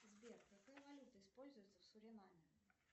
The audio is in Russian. сбер какая валюта используется в суринаме